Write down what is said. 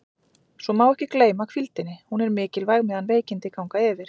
Svo má ekki gleyma hvíldinni, hún er mikilvæg meðan veikindi ganga yfir.